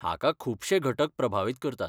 हाका खुबशे घटक प्रभावीत करतात.